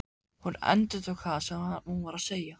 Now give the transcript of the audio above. Hún endurtók það sem hún var að segja.